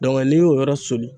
n'i y'o yɔrɔ soli.